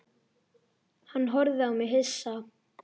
Hann horfði á mig hissa.